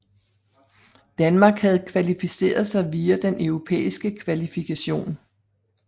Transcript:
Danmark havde kvalificeret sig via den europæiske kvalifikation